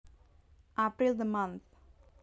April the month